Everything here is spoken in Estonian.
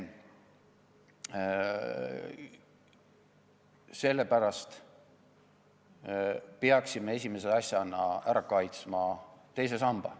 Sellepärast me peaksime esimese asjana kaitsma teist sammast.